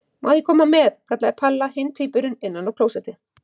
Má ég koma með? kallaði Palla hinn tvíburinn innan af klósetti.